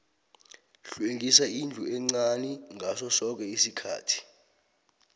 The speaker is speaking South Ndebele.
hlwengisa indlu encani ngaso soke isikhathi